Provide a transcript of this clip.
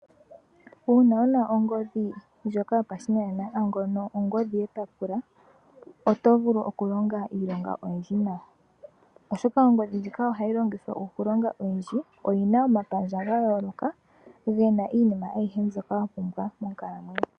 Uuna wuna ongodhi yopashinanena ano ongodhi yepapula oto vulu okulonga iilonga oyindji nawa, oshoka ongodhi ndjika ohayi longithwa okulonga iilonga oyindji. Oyi na omapandja ga yooloka ge na iinima oyindji mbyok awa pumbwa monkalamwenyo.